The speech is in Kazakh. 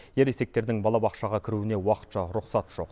ересектердің балабақшаға кіруіне уақытша рұқсат жоқ